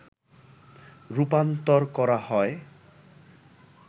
রূপান্তর করা হয়